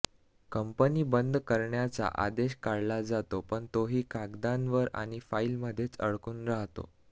company बंद करण्याचा आदेश काढला जातो पण तोही कागदांवर आणि फाईलमध्येच अडकून राहतो